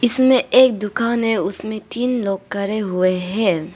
इसमें एक दुकान है उसमें तीन लोग करे हुए हैं।